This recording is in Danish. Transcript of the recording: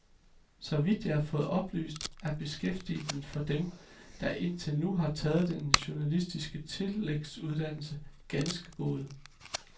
Så vidt jeg har fået oplyst, er beskæftigelsen for dem, der indtil nu har taget den journalistiske tillægsuddannelse, ganske gode.